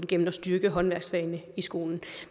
gennem at styrke håndværksfagene i skolen